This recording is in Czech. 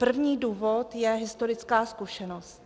První důvod je historická zkušenost.